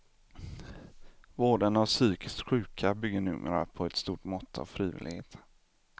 Vården av psykiskt sjuka bygger numera på ett stort mått av frivillighet.